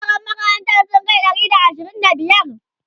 yaran makarantan sun Kai Ɗari da ashirin da biyar?